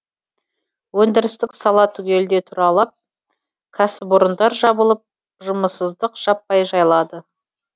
өндірістік сала түгелдей тұралап кәсіпорындар жабылып жұмыссыздық жаппай жайлады